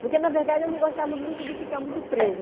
Porque, na verdade, eu não gostava muito de ficar muito presa.